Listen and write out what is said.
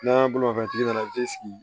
N'an bolofɛntigi nana i bɛ sigi